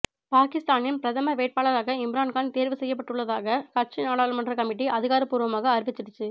பாகிஸ்தானின் பிரதமர் வேட்பாளராக இம்ரான்கான் தேர்வுசெய்யப்பட்டுள்ளதாக கட்சி நாடாளுமன்ற கமிட்டி அதிகாரபூர்வமாக அறிவிச்சிடுச்சு